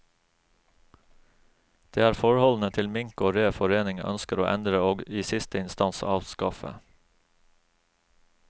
Det er forholdene til mink og rev foreningen ønsker å endre og i siste instans avskaffe.